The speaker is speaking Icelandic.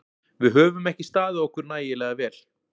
Við höfum ekki staðið okkur nægilega vel.